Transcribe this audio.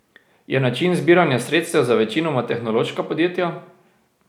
Je način zbiranja sredstev za večinoma tehnološka podjetja.